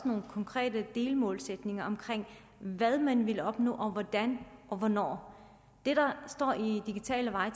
nogle konkrete delmålsætninger om hvad man vil opnå og hvordan og hvornår det der står i digitale veje